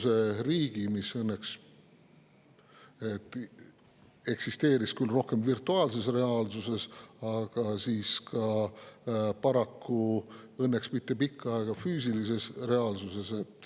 See kunagi õnneks eksisteeris küll rohkem virtuaalses reaalsuses, aga paraku ka, õnneks küll mitte pikka aega, füüsilises reaalsuses.